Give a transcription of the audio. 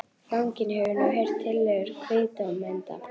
Fanginn hefur nú heyrt tillögur kviðdómenda.